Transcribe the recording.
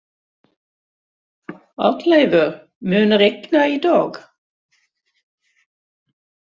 Arnleifur, mun rigna í dag?